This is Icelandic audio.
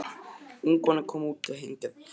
Ung kona kom út og fór að hengja upp þvott.